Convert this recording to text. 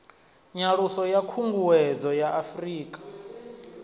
nyaluso ya khunguwedzo ya afurika